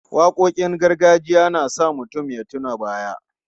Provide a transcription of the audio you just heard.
Waƙoƙin gargajiya na sa mutum ya tuna baya.